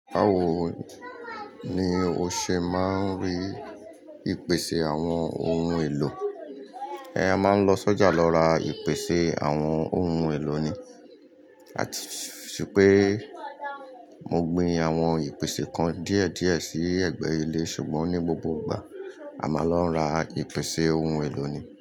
Báwo ni o ṣe máa ń rí ìpèsè àwọn ohun èlò? Ẹ a maa ń lọ sọ́jà lọ ra ìpèsè àwọn ohun èlò ni. Àti ṣùpẹ́, mo gbin àwọn ìpèsè kan díẹ̀díẹ̀ sí ẹ̀gbẹ́ ilé sùgbọ́n ní gbogbo ìgbà, a máa ń lọ ra ìpèsè ohun èlò ni.